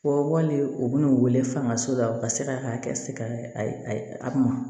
Fɔ wali u bɛ n'u wele fangaso la u ka se k'a kɛ se ka a ma